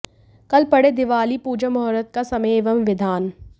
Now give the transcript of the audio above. कल पढ़ें दीवाली पूजा मुहूर्त का समय एवं विधान